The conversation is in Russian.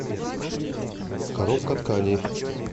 коробка тканей